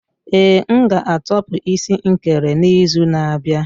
Ee, m ga-atopu isi nkere n'izu na-abịa.